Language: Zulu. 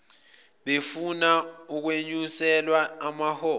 befuna ukwenyuselwa amaholo